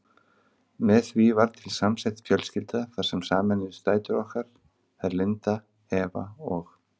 Með því varð til samsett fjölskylda þar sem sameinuðust dætur okkar, þær Linda, Eva og